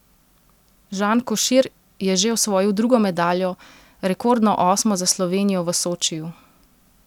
Žan Košir je že osvojil drugo medaljo, rekordno osmo za Slovenijo v Sočiju!